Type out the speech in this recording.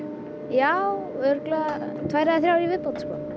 já örugglega tvær eða þrjár í viðbót sko